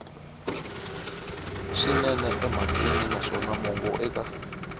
swinene emhakeni naswona mongo eka